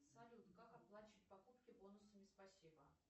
салют как оплачивать покупки бонусами спасибо